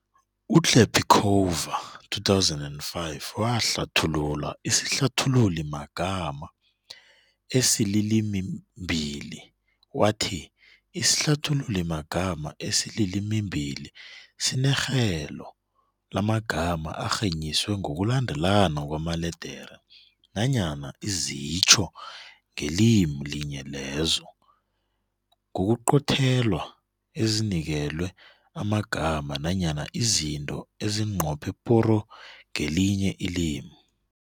UKlapicova, 2005, wahlathulula isihlathululimagama esilimimbili wathi, isihlathululimagama esilimimbili sinerhelo lamagama arhenyiswe ngokulandelana kwamaledere nanyana izitjho ngelimi linye lezo, ngokuqothelwa ezinikelwe amagama nanyana izinto ezinqophe poro ngelinye ilimi.